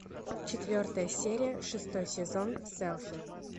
четвертая серия шестой сезон селфи